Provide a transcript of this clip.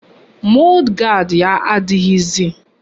Mọd gard ya adịghịzi